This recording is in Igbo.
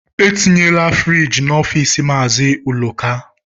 Etinyela friiji n'office Mazi Uloka